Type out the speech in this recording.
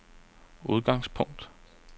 udgangspunkt